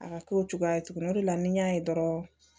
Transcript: A ka k'o cogoya ye tuguni o de la ni n y'a ye dɔrɔn